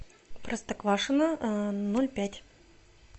простоквашино ноль пять